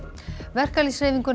verkalýðshreyfinguna